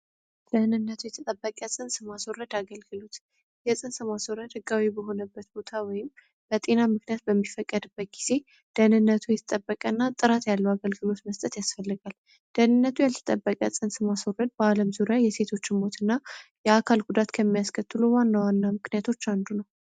ደህንነቱ የተጠበቀ ጽንስ ማስዎረድ አገልግሉት የጽንስ ማስወረድ ህጋዊ በሆነበት ቦታ ወይም በጤና ምክንያት በሚፈቀድበት ጊዜ ደህንነቱ የተጠበቀ እና ጥራት ያለው አገልግሎት መስጠት ያስፈልጋል። ደህንነቱ ያልተጠበቀ ጽንስ ማስረድ በዓለም ዙሪያ የሴቶች ሞት እና የአካል ጉዳት ከሚያስከቱል ዋን ለዋና ምክንያቶች አንዱ ነው።